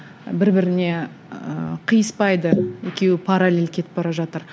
бір біріне ііі қиыспайды екеуі паралель кетіп бара жатыр